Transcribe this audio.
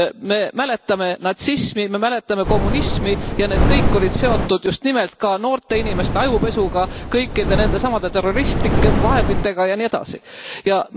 Me mäletame natsismi, me mäletame kommunismi ja need kõik olid seotud just nimelt ka noorte inimeste ajupesuga, kõikide nendesamade terroristlike vahenditega jne.